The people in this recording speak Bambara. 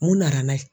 Mun nana n'a ye